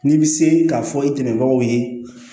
N'i bɛ se k'a fɔ i dɛmɛbagaw ye